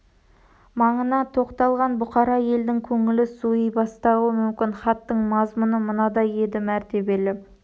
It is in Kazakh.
маңына топталған бұқара елдің көңілі суый бастауы мүмкін хаттың мазмұны мынадай еді мәртебелі